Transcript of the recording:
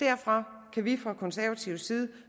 derfor kan vi fra konservativ side